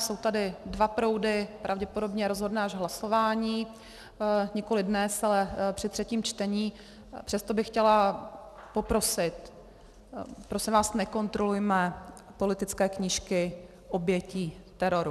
Jsou tady dva proudy, pravděpodobně rozhodne až hlasování - nikoliv dnes, ale při třetím čtení, přesto bych chtěla poprosit, prosím vás, nekontrolujme politické knížky obětí teroru!